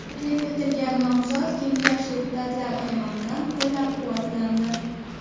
Taklif etilgan nomzod Kengash deputatlari tomonidan qo‘llab-quvvatlandi.